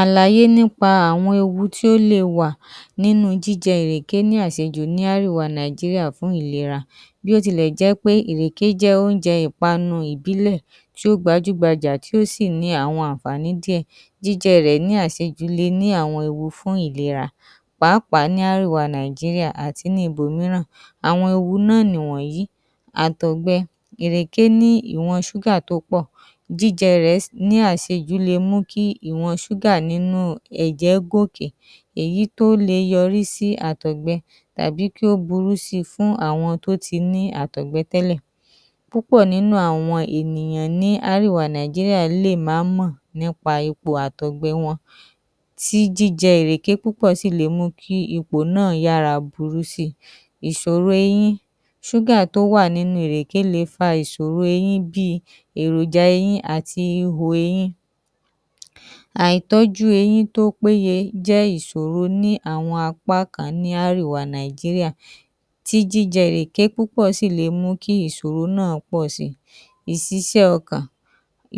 Àlàyé nípa àwọn ewu tí ó le wà nínu jíjẹ ìrèké ní àsejù ní árèwa Nàíjíríà fún ìlera. Bí ó tilẹ̀ jẹ́ pé ìrèké jẹ́ óúnjẹ ìpanu ìbílẹ̀ tí ó gbajúgbajà, tí ó sì ní àwọn àǹfààní díẹ̀, jíjẹ rẹ̀ le ní àwọn ewu fún ìlera pàápàá ní árèwa Nàíjíríà àti ní ibòmíran. Àwọn ewu náà nì wọ̀nyìí: Àtọ̀gbẹ. ìrèké ní ìwọn ṣúgà tó pọ̀, jíjẹ rẹ̀ ní àsejù le mú kí ìwọn ṣúgà nínú ẹ̀jẹ̀ gòòkè èyí tó le yọrí sí àtọ̀gbẹ tàbí kí ó burú si fún àwọn tó ti ní àtọ̀gbẹ tẹ́lẹ̀. Púpọ̀ nínú àwọn ènìyàn ní árèwa Nàíjíríà lè má mọ̀ nípa ipò àtọ̀gbẹ wọn, tí jíjẹ ìrèké púpọ̀ sì le mú kí ipò náà yára burú si. Ìsòro eyín: Ṣúgà tó wà nínú ìrèké le fa ìsòro eyín bí i èròja eyín àti ihò eyín. Àìtọ́jú eyín tó péye jẹ́ ìsòro ní àwọn apá kan ní árèwa Nàíjíríà, tí jíjẹ ìrèké púpọ̀ sì le jẹ́ kí ìsòro náà pọ̀ si. ìsisẹ́ ọkàn: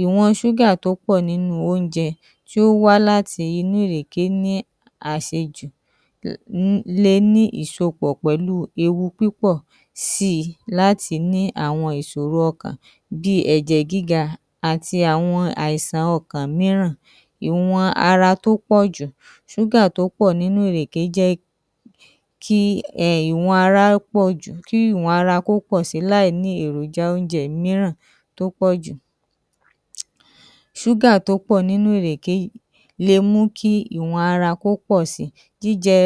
Ìwọn ṣúgà tó pọ̀ nínu óúnjẹ tí ó wá láti inú ìrèké ní àsejù le ní ìsopọ̀ pẹ̀lu ewu púpọ̀ si láti ní àwọn ìsòro ọkàn bí i ẹ̀jẹ̀ gíga àti àwọn àìsàn ọkàn mìíràn. Ìwọn ara tó pọ̀ jù: Ṣúgà tó pọ̀ nínú ìrèké jẹ́ kí ìwọn ara kó pọ̀ jù kí ìwọn ara ko pọ̀ si láìní èròja óúnjẹ mìíràn tó pọ̀ jù. Ṣúgà tó pọ̀ nínú ìrèké yìí le mú kí ìwọn ara kó pọ̀ si, jíjẹ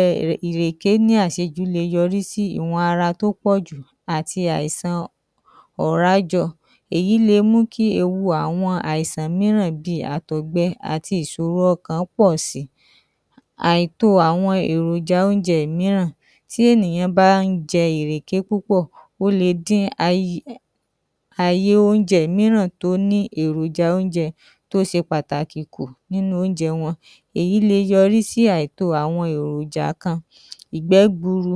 ìrèké ní àsejù le yọrí sí ìwọn ara tó pọ̀ jù àti àìsan ọ̀rá jọ èyí le mú kí ewu àwọn àìsan mìíràn bí i àtọ̀gbẹ àti ìsòro ọkàn pọ̀ si. Àìtó àwọn èròja óúnjẹ mìíràn: Tí ènìyàn bá ń jẹ ìrèké púpọ̀ ó le dí àyè óúnjẹ mìíràn tó ní èròja óúnjẹ mìíràn tó se pàtàkì nínu óúnjẹ wọn. Èyí le yọrí sí àìtó àwọn èròjà kan. Ìgbẹ́ gburu: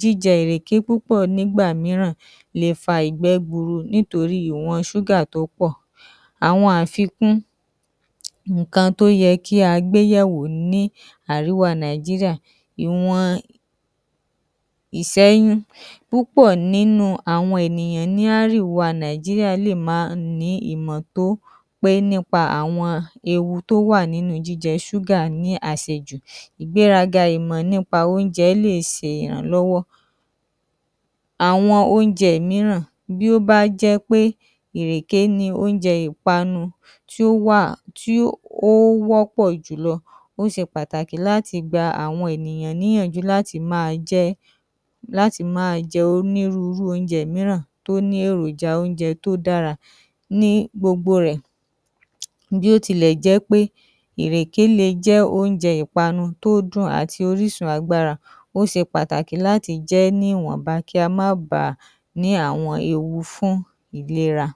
Jíjẹ ìrèké púpọ̀ nígbà mìíràn le fa ìgbẹ́ gburu nítorí ìwọn ṣúgà tó pọ̀. Àwọn àfikún ǹǹkan tó yẹ kí a gbéyẹ̀wò ní àríwá Nàíjíríà. Ìwọn?. Púpọ̀ nínú àwọn ènìyàn ní árìwa Nàíjíríà lè má ní ìmọ̀ tó pé nípa àwọn ewu tó wà nínú jíjẹ ṣúgà ní àsejù. Ìgbéraga ìmọ̀ nípa óúnjẹ lè se ìrànlọ́wọ́. Àwọn óúnjẹ mìíràn: Bí ó bá jẹ́ pé ìrèké ní óúnjẹ ìpanu tí ó wà tí ó wọ́pọ̀ jùlọ, ó se pàtàkì láti gba àwọn ènìyàn níyànjú láti máa jẹ́, láti máa jẹ óúnjẹ mìíràn tí ó ní èròja óúnjẹ tó dára. Ní gbogbo rẹ̀, bí ó tilẹ̀ jẹ́ pé ìrèké le jẹ́ óúnjẹ ìpanu tó dùn àti orísun agbára, ó se pàtàkì láti jẹ ẹ́ níwọ̀nba kí a má ba ní àwọn ewu fún ìlera.